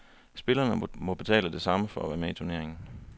Spillerne må betale det samme for at være med i turneringen.